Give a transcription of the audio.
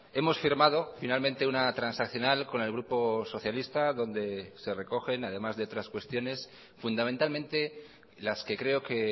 hemos firmado finalmente una transaccional con el grupo socialista donde se recogen además de otras cuestiones fundamentalmente las que creo que